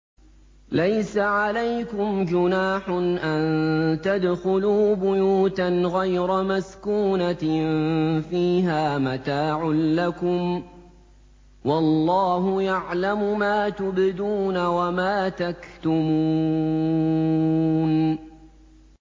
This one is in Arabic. لَّيْسَ عَلَيْكُمْ جُنَاحٌ أَن تَدْخُلُوا بُيُوتًا غَيْرَ مَسْكُونَةٍ فِيهَا مَتَاعٌ لَّكُمْ ۚ وَاللَّهُ يَعْلَمُ مَا تُبْدُونَ وَمَا تَكْتُمُونَ